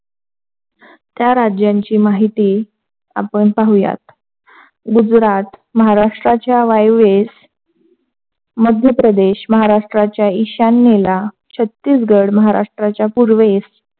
राज्यांची माहिती आपण पाहूयात, गुजरात महाराष्ट्राच्या वायव्येस मध्ये प्रदेश महाराष्ट्राच्या ईशानेला छत्तीसगड महाराष्ट्राच्या पूर्वेस,